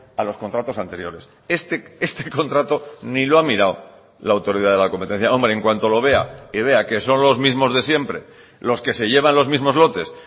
a los contratos anteriores este contrato ni lo ha mirado la autoridad de la competencia hombre en cuanto lo vea y vea que son los mismos de siempre los que se llevan los mismos lotes